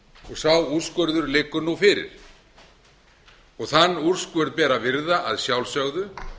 sá úrskurður liggur nú fyrir þann úrskurð ber að virða að sjálfsögðu